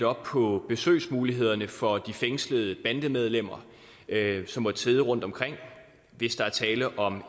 op på besøgsmulighederne for de fængslede bandemedlemmer som måtte sidde rundtomkring hvis der er tale om